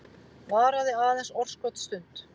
Varaði aðeins örskotsstund.